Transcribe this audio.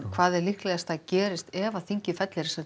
hvað er líklegt að gerist ef þingið fellir